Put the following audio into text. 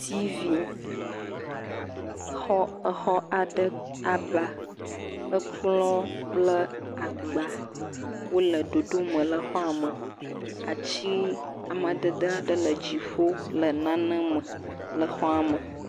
Tivi, xɔ, exɔ aɖe aba, ekplɔ kple agba wole ɖoɖome le xɔa me, ati amadede aɖe le dziƒo le nane me le xɔa me.